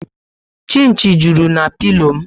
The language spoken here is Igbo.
Chinchi juru na pilo m